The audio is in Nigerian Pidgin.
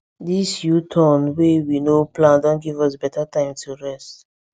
this uturn wey we no plan don give us better time to rest